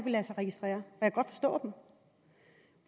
lade sig registrere og